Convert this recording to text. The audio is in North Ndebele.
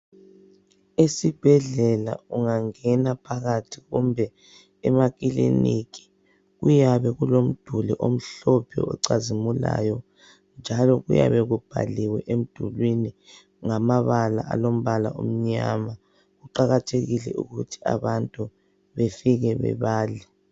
Esibhedlela ungangena phakathi kumbe emakliniki kuyabe kulomduli omhlophe ocazimulayo, njalo kuyabe kubhaliwe emdulwini ngamabala alombala omnyama kuqakathekile ukuthi abantu befike bebale.